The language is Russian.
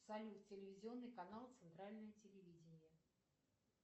салют телевизионный канал центральное телевидение